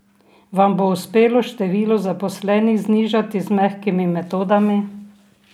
Vam bo uspelo število zaposlenih znižati z mehkimi metodami?